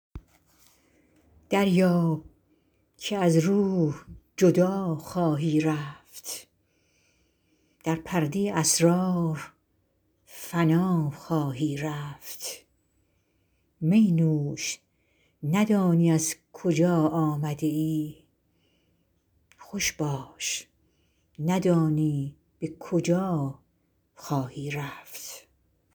دریاب که از روح جدا خواهی رفت در پرده اسرار فنا خواهی رفت می نوش ندانی از کجا آمده ای خوش باش ندانی به کجا خواهی رفت